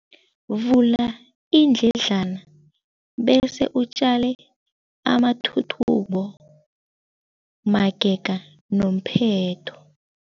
Vula iindledlana bese utjale amathuthumbo magega nomphetho.